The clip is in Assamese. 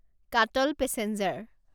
কাটল পেচেঞ্জাৰ